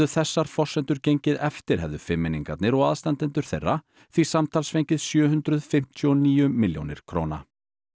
þessar forsendur gengið eftir hefðu fimmmenningarnir og aðstandendur þeirra því samtals fengið sjö hundruð fimmtíu og níu milljónir króna